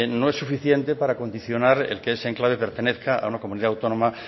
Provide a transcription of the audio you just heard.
no es suficiente para condicionar el que ese enclave pertenezca a una comunidad autónoma